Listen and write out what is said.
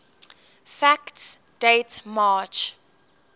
facts date march